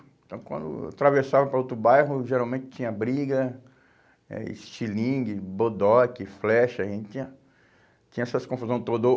Então, quando atravessava para outro bairro, geralmente tinha briga, eh estilingue, bodoque, flecha, a gente tinha, tinha essas confusão toda, ou